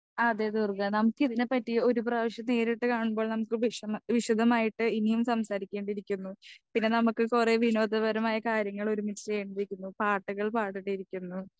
Speaker 2 ആ അതെ ദുർഗ നമുക്കിതിനെ പറ്റി ഒരു പ്രാവശ്യം നേരിട്ട് കാണുമ്പോൾ നമ്മക്ക് വിഷമം വിശദമായിട്ട് ഇനിയും സംസാരിക്കേണ്ടിരിക്കുന്നു പിന്നെ നമ്മുക്ക് കൊറേ വിനോദപരമായി കാര്യങ്ങൾ ഒരുമിച്ച് ചെയ്യെണ്ടിരിക്കുന്നു പാട്ടുകൾ പാടണ്ടിരിക്കുന്നു.